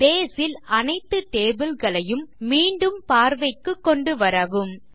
base ல் அனைத்து table களையும் மீண்டும் பார்வைக்கு கொண்டுவரவும் 3